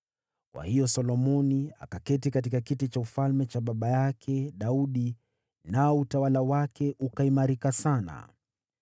Kwa hiyo Solomoni akaketi katika kiti cha ufalme cha baba yake Daudi, nao utawala wake ukaimarika sana.